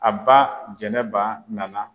A ba Jɛnɛba nana.